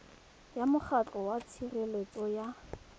ya mokgatlho wa tshireletso ya